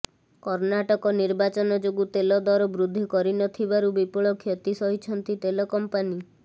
କର୍ଣ୍ଣାଟକ ନିର୍ବାଚନ ଯୋଗୁଁ ତେଲ ଦର ବୃଦ୍ଧି କରିନଥିବାରୁ ବିପୁଳ କ୍ଷତି ସହିଛନ୍ତି ତେଲ କମ୍ପାନୀ